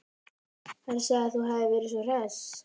Hann sagði að þú hefðir verið svo hress.